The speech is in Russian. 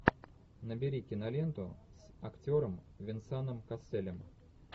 набери киноленту с актером венсаном касселем